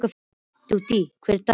Judith, hver er dagsetningin í dag?